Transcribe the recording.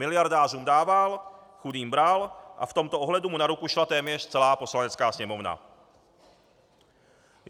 Miliardářům dával, chudým bral a v tomto ohledu mu na ruku šla téměř celá Poslanecká sněmovna.